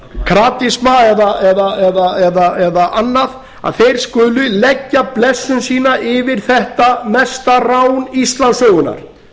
kratisma eða annað að þeir skuli leggja blessun sína yfir þetta mesta rán íslandssögunnar